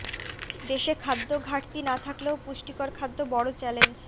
দেশে খাদ্য ঘাটতি না থাকলেও পুষ্টিকর খাদ্য বড় চ্যালেঞ্জ